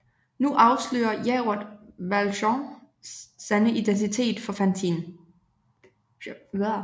Nu afslører Javert Valjeans sande identitet for Fantine